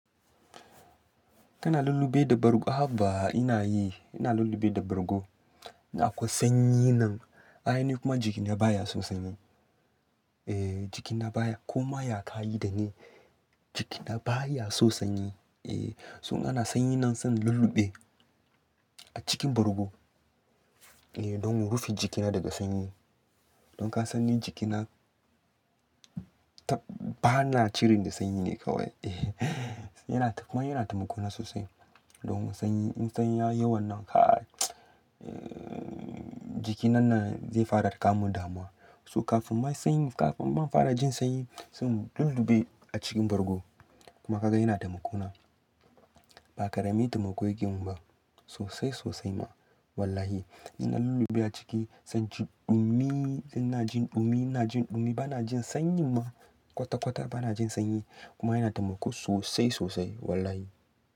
Kana lulluɓe da bargo. Haba ina yi, ina lulluɓe da bargo. Ina akwai sanyi nan, ai ni kuma jikina baya son sanyi. Eh jikina baya, koma ya kayi dani jikina baya so sanyi. Eh, so in ana sanyi nan zan lulluɓe a cikin bargo. Eh don in rufe jikina daga sanyi. Don ka san ni jikina tab bana cirin da sanyi ne kawai. Eh yana, kuma yana taimako na sosai. Don sanyi in sanyi ya yiwon nan kaii eh jiki nan zai fara kamun damuwa. So kafin ma sanyi kafin ma in fara jin sanyi zan lulluɓe a cikin bargo. Kuma ka ga yana taimako na. Ba karemi taimako yake mun ba sosai sosai ma wallahi. Ina lulluɓe a ciki zan ji dumi, ina jin dumi ina jin dumi bana jin sanyi ma kwata kwata bana jin sanyi kuma yana taimako sosai sosai wallahi.